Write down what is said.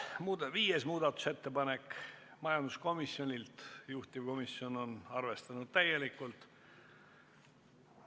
Viieski muudatusettepanek on majanduskomisjonilt ja juhtivkomisjon on arvestanud seda täielikult.